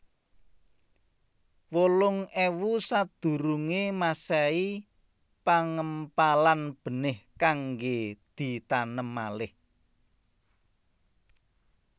wolung ewu sakdurunge masehi Pangempalan benih kangge ditanem malih